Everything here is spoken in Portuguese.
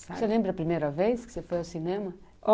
Você lembra a primeira vez que você foi ao cinema?